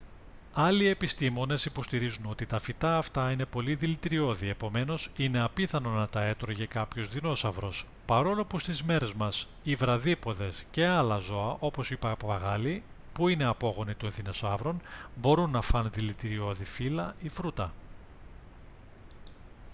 άλλοι επιστήμονες υποστηρίζουν ότι τα φυτά αυτά είναι πολύ δηλητηριώδη επομένως είναι απίθανο να τα έτρωγε κάποιος δεινόσαυρος παρόλο που στις μέρες μας οι βραδύποδες και άλλα ζώα όπως οι παπαγάλοι που είναι απόγονοι τον δεινοσαύρων μπορούν να φάνε δηλητηριώδη φύλλα ή φρούτα